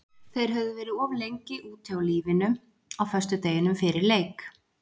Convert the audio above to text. Þeir höfðu verið of lengi úti á lífinu á föstudeginum fyrir leik.